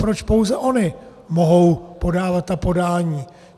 Proč pouze ony mohou podávat ta podání?